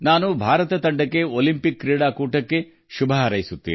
ಭಾರತ ತಂಡಕ್ಕೆ ಒಲಿಂಪಿಕ್ಸ್ ಕ್ರೀಡಾಕೂಟಕ್ಕೆ ಶುಭ ಹಾರೈಸುತ್ತೇನೆ